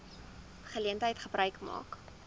geleentheid gebruik maak